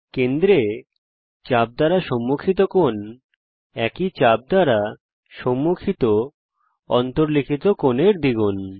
কেন্দ্রে চাপ দ্বারা সম্মুখিত কোণ একই চাপ দ্বারা সম্মুখিত অন্তর্লিখিত কোণের দ্বিগুণ